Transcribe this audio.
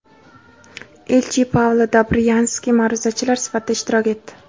elchi Paula Dobryanski ma’ruzachilar sifatida ishtirok etdi.